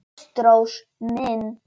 Ástrós mín.